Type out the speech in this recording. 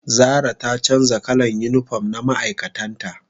zara ta canja kalan unipom na ma'aikatan ta